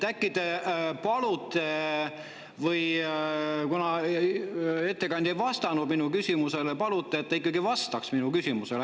Kuna ettekandja ei vastanud mu küsimusele, äkki te palute, et ta ikkagi vastaks minu küsimusele.